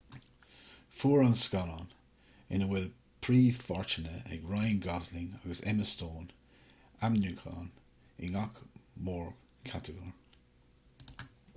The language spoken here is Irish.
fuair ​​an scannán ina bhfuil príomhpháirteanna ag ryan gosling agus emma stone ainmniúcháin i ngach mórchatagóir